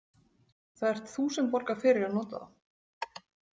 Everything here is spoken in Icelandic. Það ert þú sem borgar fyrir að nota þá.